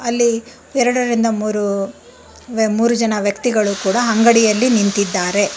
ಅಲ್ಲಿ ಎರಡರಿಂದ ಮೂರು ಮೂರು ಜನ ವ್ಯಕ್ತಿಗಳು ಕೂಡ ಅಂಗಡಿಯಲ್ಲಿ ನಿಂತಿದ್ದಾರೆ.